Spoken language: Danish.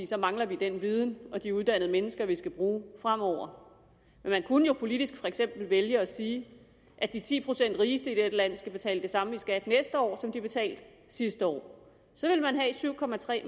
så mangler vi den viden og de uddannede mennesker vi skal bruge fremover men man kunne jo politisk for eksempel vælge at sige at de ti procent rigeste i dette land skal betale det samme i skat næste år som de betalte sidste år så ville man have syv